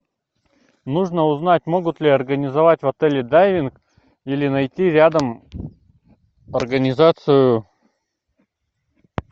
нужно узнать могут ли организовать в отеле дайвинг или найти рядом организацию